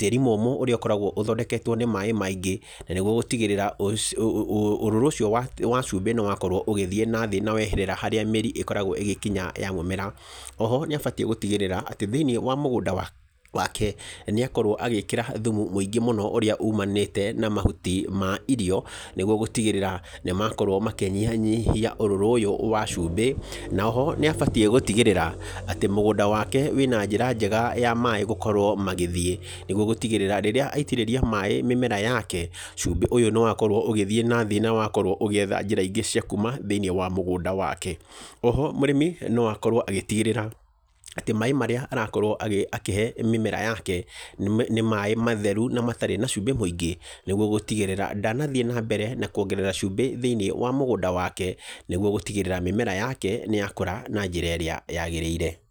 tĩĩri mũmũ ũrĩa ũkoragwo ũthondeketwo nĩ maaĩ maingĩ, na nĩguo gũtigĩrĩra ũrũrũ ũcio wa cumbĩ nĩ wakorwo ũgĩthiĩ na thĩ na weherera harĩa mĩri ĩkoragwo igĩkinya ya mũmera. Oho, nĩ abatiĩ gũtigĩrĩra atĩ thĩ-inĩ wa mũgũnda wake, nĩ akorwo agĩkĩra thumu mũingĩ mũno ũrĩa umanĩte na mahuti ma irio, nĩguo gũtigĩrĩra nĩ makorwo makĩnyihia ũrũrũ ũyũ wa cumbĩ, na oho nĩ abatiĩ gũtigĩrĩra atĩ mũgũnda wake wĩna njĩra njega ya maaĩ gũkorwo magĩthiĩ nĩguo gũtigĩrĩra rĩrĩa aitĩrĩria maaĩ mĩmera yake, cumbĩ ũyũ nĩ wakorwo ũgĩthiĩ na thĩ na wakorwo ũgĩetha njĩra ingĩ cia kuuma thĩ-inĩ wa mũgũnda wake. Oho, mũrĩmi no akorwo agĩtigĩrĩra atĩ maaĩ marĩa arakorwo akĩhe mĩmera yake nĩ maaĩ matheru na matarĩ na cumbĩ mũingĩ, nĩguo gũtigĩrĩra ndanathiĩ na mbere na kwongerera cumbĩ thĩ-inĩ wa mũgũnda wake, nĩguo gũtigĩrĩra mĩmera yake nĩ yakũra na njĩra ĩrĩa yagĩrĩire.